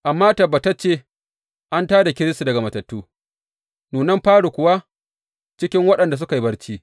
Amma tabbatacce, an tā da Kiristi daga matattu, nunan fari kuwa cikin waɗanda suka yi barci.